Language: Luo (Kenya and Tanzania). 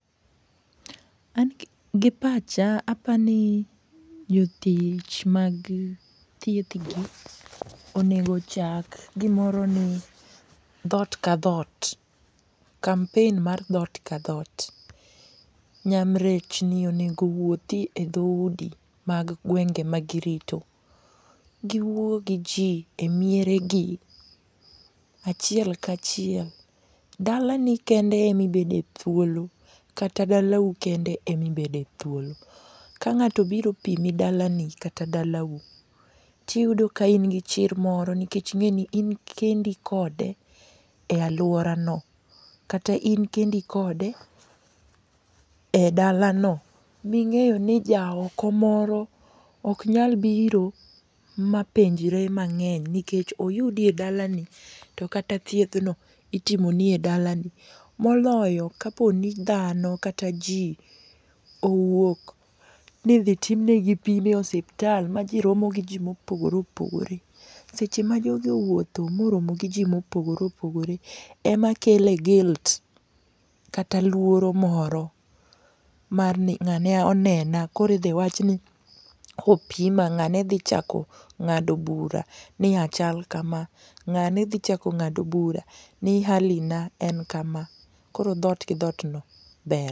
An gipacha apani jotich mag thiethgi onego ochak gimoro ni dhoot ka dhoot. Kampen mar dhoot ka dhoot. Nyamrechni onego owuothi e dhoudi mag gwenge ma girito. Giwuo gi ji emieregi achiel kachiel. Dalani kende ema ibede thuolo, kata dalau kende ema ibede thuolo. Ka ng'ato obiro opimi dalani, kata dalau to iyudo ka in gi chir moro nikech ing'e ni in kendi kode e aluorano kata in kendi kode edalano ming'eyo ni jaoko moro ok nyal biro ma penjre mang'eny nikech oyudi edala ni, to kata thiedhno, itimoni e dalani. Moloyo kaponi dhano kata ji owuok ni idhi tim negi pim ei osiptal maji romo gi ji mopogore opogore. Seche ma jogi owuotho moromo gi ji mopogore opogore, ema kele guilt kata luoro moro marni ng'ane onena koro idhi wach ni opima ng'ane dhi chako ng'ado bura ni achal kama. Ng'ane dhi chako ng'ado bura ni hali na en kama. Koro dhoot gi dhootno ber.